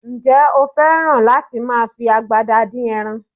Ǹjẹ́ o fẹ́ràn láti máa fi agbada dín ẹran?